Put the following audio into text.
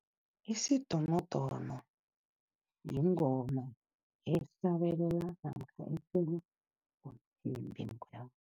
Isidonodono yingoma namkha